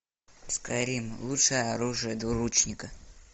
скайрим лучшее оружие двуручника